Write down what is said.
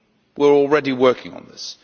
We are already working on this.